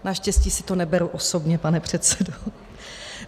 Naštěstí si to neberu osobně, pane předsedo.